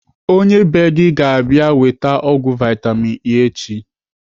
Onye bee gị ga - abịa weta ọgwụ vitamin E echi.